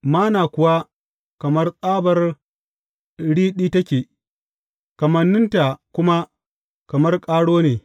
Manna kuwa kamar tsabar riɗi take, kamanninta kuma kamar ƙaro ne.